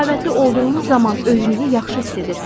Səxavətli olduğunuz zaman özünüzü yaxşı hiss edirsiniz.